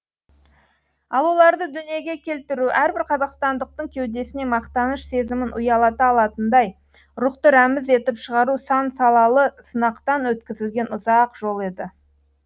ал оларды дүниеге келтіру әрбір қазақстандықтың кеудесіне мақтаныш сезімін ұялата алатындай рухты рәміз етіп шығару сан салалы сынақтан өткізілген ұзақ жол еді